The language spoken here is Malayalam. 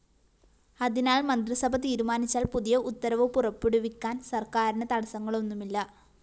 അതിനാല്‍ മന്ത്രിസഭ തീരുമാനിച്ചാല്‍ പുതിയ ഉത്തരവ് പുറപ്പെടുവിക്കാന്‍ സര്‍ക്കാരിന് തടസ്സങ്ങളൊന്നുമില്ല